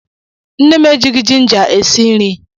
Nne m ejighị jinja esi nri.